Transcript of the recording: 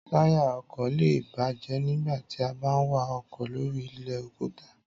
Táyà ọkọ̀ lé è bàjẹ́ nígbà tí a bá ń wa ọkọ̀ lóri ilẹ̀ òkúta